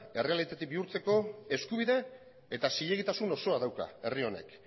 errealitate bihurtzeko eskubide eta zilegitasun osoa dauka herri honek